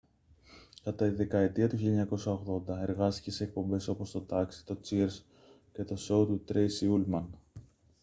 κατά τη δεκαετία του 1980 εργάστηκε σε εκπομπές όπως το taxi το cheers και το σόου του τρέισι ούλμαν